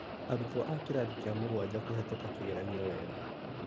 Arutwo a kĩrathi kĩa mũgwanja kũhĩtũka kĩgeranio wega